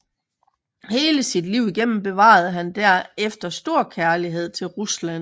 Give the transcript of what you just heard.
Hele sit liv igennem bevarede han derefter stor kærlighed til Rusland